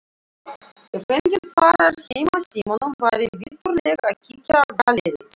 Ef enginn svarar heimasímanum væri viturlegt að kíkja í galleríið.